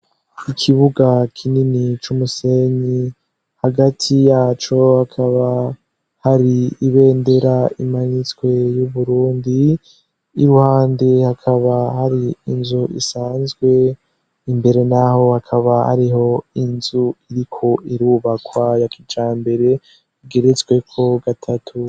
Ikibuga kinini c'umusenyi hagati yaco hakaba hari ibendera imanyitswe y'uburundi iruhande hakaba hari inzu isanzwe imbere, naho hakaba hariho inzu iriko irubakwa yakija mbere bgeretsweko gatatuma.